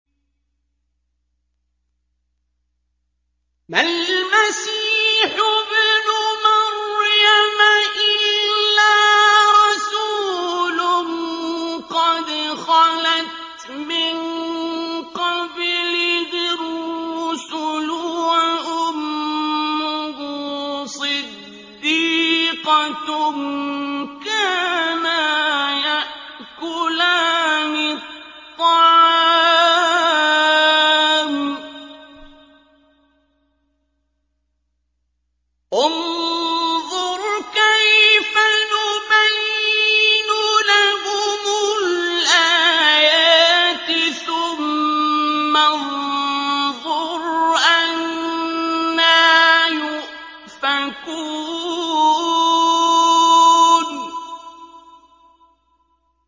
مَّا الْمَسِيحُ ابْنُ مَرْيَمَ إِلَّا رَسُولٌ قَدْ خَلَتْ مِن قَبْلِهِ الرُّسُلُ وَأُمُّهُ صِدِّيقَةٌ ۖ كَانَا يَأْكُلَانِ الطَّعَامَ ۗ انظُرْ كَيْفَ نُبَيِّنُ لَهُمُ الْآيَاتِ ثُمَّ انظُرْ أَنَّىٰ يُؤْفَكُونَ